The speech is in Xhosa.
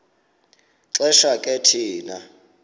xesha ke thina